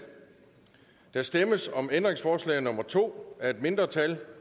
der stemmes om ændringsforslag nummer to af et mindretal